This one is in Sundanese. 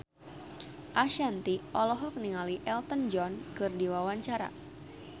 Ashanti olohok ningali Elton John keur diwawancara